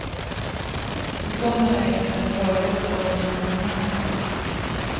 I såna lägen är det en fördel att folk vet vem man är.